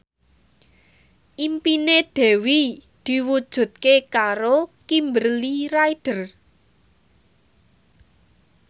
impine Dewi diwujudke karo Kimberly Ryder